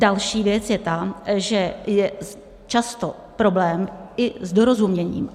Další věc je ta, že je často problém i s dorozuměním.